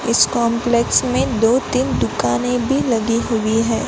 इस कॉम्प्लेक्स में दो तीन दुकानें भी लगी हुई हैं।